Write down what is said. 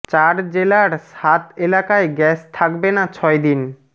চার জেলার সাত এলাকায় গ্যাস থাকবে না ছয় দিন